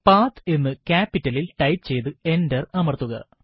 പത്ത് എന്ന് capital ലിൽ ടൈപ്പ് ചെയ്ത് എന്റർ അമർത്തുക